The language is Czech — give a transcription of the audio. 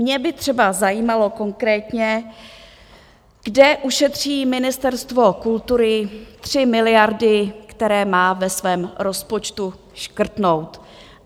Mě by třeba zajímalo konkrétně, kde ušetří Ministerstvo kultury tři miliardy, které má ve svém rozpočtu škrtnout.